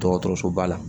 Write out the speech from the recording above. Dɔgɔtɔrɔsoba la